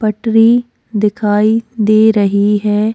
पटरी दिखाई दे रही है।